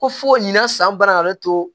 Ko fo nin na san bana to